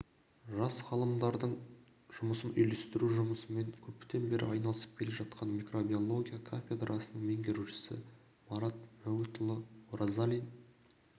жас ғалымдардың жұмысын үйірлестіру жұмысымен көптен бері айналысып келе жатқан микробиология кафедрасының меңгерушісы марат мәуітханұлы оразалин